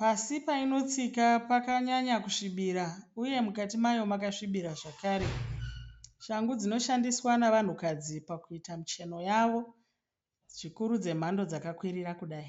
Pasi painotsika pakanyanya kusvibira uye mukati mayo makasvibira zvakare. Shangu dzinoshandiswa nevanhukadzi pakuita micheno yavo zvikuru dzemhando dzakakwirira kudai.